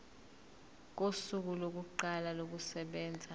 kosuku lokuqala kokusebenza